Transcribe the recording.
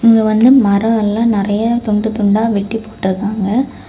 இங்க வந்து மரம் எல்லா நெறைய துண்டு துண்டா வெட்டி போட்டிருக்காங்க.